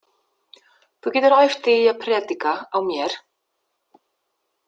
Þú getur æft þig í að predika á mér.